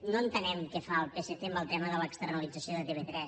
no entenem què fa el psc en el tema de l’externalització de tv3